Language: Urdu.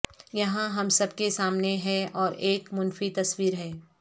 یہاں ہم سب کے سامنے ہے اور ایک منفی تصویر ہے